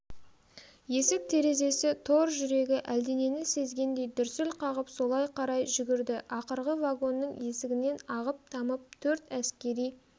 есік-терезесі тор жүрегі әлденені сезгендей дүрсіл қағып солай қарай жүгірді ақырғы вагонның есігінен ағып-тамып төрт әскери